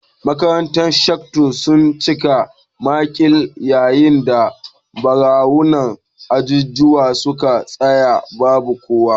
Makarantun ghetto sun cika makil, yayin da daruruwan ajujuwa suka tsaya babu kowa